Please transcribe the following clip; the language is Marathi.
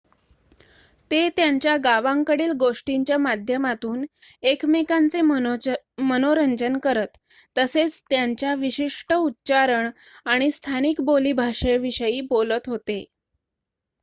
ते त्यांच्या गावांकडील गोष्टींच्या माध्यमातून एकमेकांचे मनोरंजन करत तसेच त्यांच्या विशिष्ट उच्चारण आणि स्थानिक बोलीभाषेविषयी बोलत होते